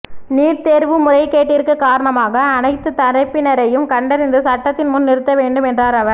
NEET தோ்வு முறைறக்கேட்டிற்கு காரணமாக அனைத்து தரப்பினரையும் கண்டறிந்து சட்டத்தின் முன் நிறுத்த வேண்டும் என்றாா் அவா்